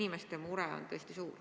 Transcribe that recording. Inimeste mure on tõesti suur.